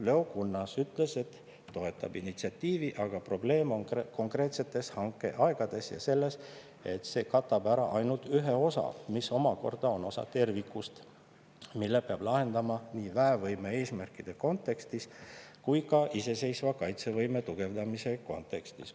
Leo Kunnas ütles, et toetab initsiatiivi, aga probleem on konkreetsetes hankeaegades ja selles, et see katab ära ainult ühe osa, mis omakorda on osa terviklikust, mille peab lahendama nii väevõime eesmärkide kontekstis kui ka iseseisva kaitsevõime tugevdamise kontekstis.